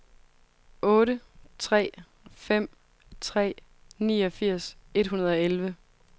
otte tre fem tre niogfirs et hundrede og elleve